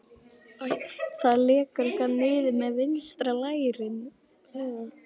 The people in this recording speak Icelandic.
Það lekur eitthvað niður eftir vinstra lærinu.